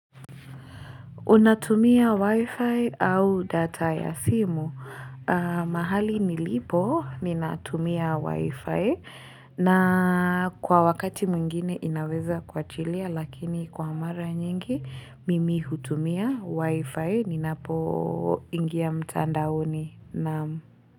Unatumia wifi au data ya simu. Mahali nilipo, ninatumia wifi. Na kwa wakati mwingine inaveza kuwachilia, lakini kwa mara nyingi, mimi hutumia wifi. Ninapo ingia mtandaoni.